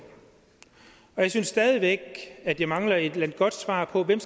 jeg synes stadig væk at jeg mangler et godt svar på hvem